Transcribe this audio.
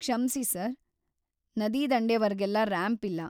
ಕ್ಷಮ್ಸಿ, ಸರ್‌. ನದಿದಂಡೆವರ್ಗೆಲ್ಲ ರ‍್ಯಾಂಪ್‌ ಇಲ್ಲ.